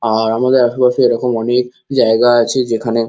আর আমাদের আশেপাশে এরকম অনেক জায়গা আছে যেখানে।